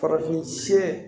Farafin siyɛn